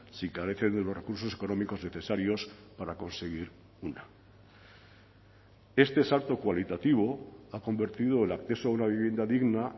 si carecen de los recursos económicos necesarios para conseguir una este salto cualitativo ha convertido el acceso a una vivienda digna